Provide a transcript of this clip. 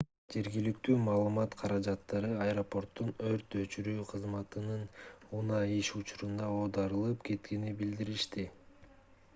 жергиликтүү маалымат каражаттары аэропорттун өрт өчүрүүчү кызматынын унаасы иш учурунда оодарылып кеткенин билдиришти